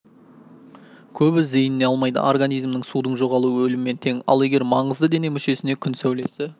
көбі зейініне алмайды организмнің судың жоғалуы өліммен тең ал егер маңызды дене мүшесіне күн сәулесі